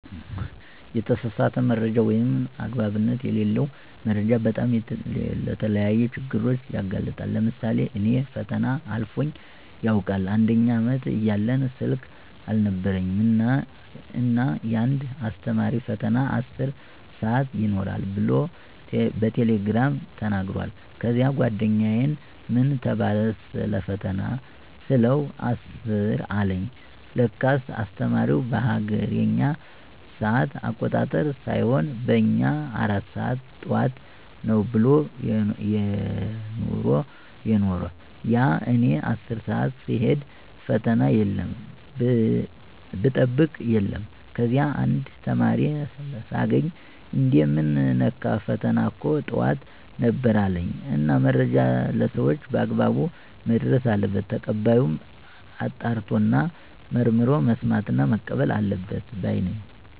የተሳሳተ መረጃ ወይም አግባብነት የለለው መረጃ በጣም ለተለያዩ ችግሮች ያጋልጣል። ለምሳሌ እኔ ፈተና አልፎኝ ያውቃል፦ አንደኛ አመት እያለን ስልክ አልነበረኝም እና እና አንድ አስተማሪ ፈተና 10 ሰአት ይኖራል ብሎ በቴሌግራም ተናግሯል። ከዚያ ጓደኛየን ምን ተባለ ሰለፈተና ስለው 10 አለኝ ለካስ አስተማሪው በሀገሬኛ ሰአት አቆጣጠር ሳይሆን በእኛ 4 ሰአት ጠዋት ነው ብሎ የነሮ። ያው እኔ 10 ሰአት ስሄድ ፈተና የለም ብጠብቅ የለም። ከዚያ አንድ ተማሪ ሳገኝ እንዴ ምን ነካህ ፈተና እኮ ጠዋት ነበር አለኝ። እና መረጃ ለሰወች በአግባብ መድረስ አለበት። ተቀባዩም አጣርቶና መርምሮ መስማትና መቀበል አለበት ባይ ነኝ።